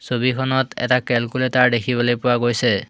ছবিখনত এটা কেলকুলেটাৰ দেখিবলৈ পোৱা গৈছে।